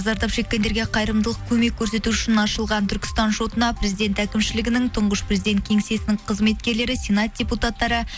зардап шеккендерге қайырымдылық көмек көрсету үшін ашылған түркістан шотына президент әкімшілігінің тұңғыш президент кеңсесінің қызметкерлері сенат депутаттары